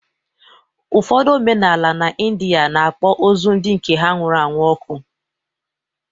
Ụfọdụ omenala n’India na-akpọ ozu ndị nke ha nwụrụ anwụ ọkụ